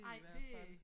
Ej det øh